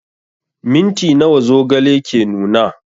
Minti nawa zogale ke nuna?